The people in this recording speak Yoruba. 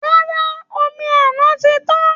Rárá, omi àná ti tán